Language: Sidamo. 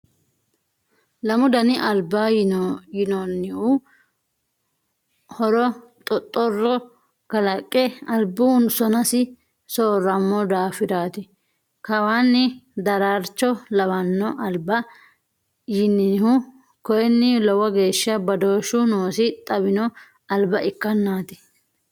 Lamu dani albaa yinonihu horo xoxoro kalaqe albu sonasi sooramo daafirati kawaani daraarcho lawano alba yinihu koini lowo geeshsha badooshu noosi xawino alba ikkennati.